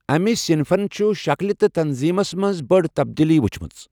اَمہِ صنفَن چھِ شکٕلہِ تہٕ تنظیٖمَس منٛز بٔڑ تبدیلیہٕ ؤچھمَژٕ۔